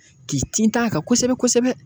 K'i tint'a kan kosɛbɛ kosɛbɛ